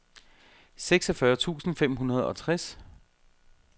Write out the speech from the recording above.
seksogfyrre tusind fem hundrede og tres